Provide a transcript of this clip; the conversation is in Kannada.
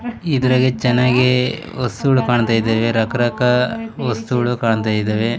ಇದ್ರಾಗೆ ಚೆನ್ನಾಗೆ ವಸ್ತುಗುಳ್ ಕಾಣ್ತಾ ಇದಾವೆ ರಕ್ ರಕ ವಸ್ತುಗಳು ಕಾಣ್ತಾ ಇದಾವೆ.